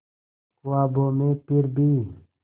ख्वाबों में फिर भी